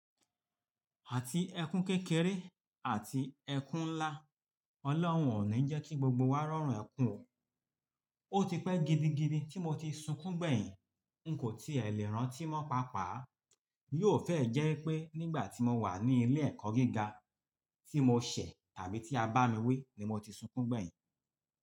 Àti ẹkún kékeré àti ẹkún ńlá, ọlọ́hun ò ní jẹ́ kí gbogbo wa rọran ẹkún o. Ó ti pẹ́ gidigidi tí mo ti sunkún gbẹ̀yìn, n kò tí è lè rántí mọ́ paápàá. Yóò fẹ́ ẹ̀ jẹ́ pé nígbà tí mo wà ní ilé ẹ̀kọ́ gíga tí mo ṣẹ̀ tàbí tí a bá mi wí ni mo ti sunkún gbẹ̀yìn.